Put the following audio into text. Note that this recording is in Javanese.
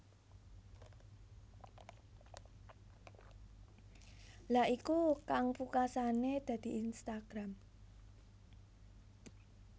Lha iku kang pungkasane dadi Instagram